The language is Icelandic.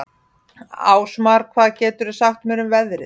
Ásmar, hvað geturðu sagt mér um veðrið?